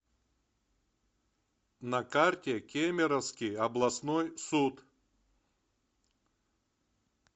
на карте кемеровский областной суд